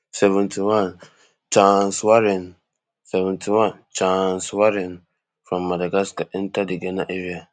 seventy-one chaaaaancewarren seventy-one chaaaaancewarren from madagascar enta di ghana area